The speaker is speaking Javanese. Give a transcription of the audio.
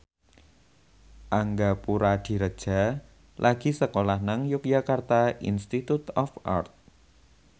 Angga Puradiredja lagi sekolah nang Yogyakarta Institute of Art